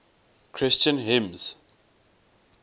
christian hymns